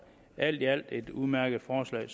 alt i alt er det et udmærket forslag